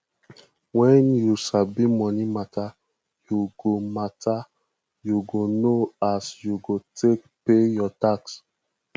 wen you sabi moni mata yu go mata yu go know as you go take pay yur tax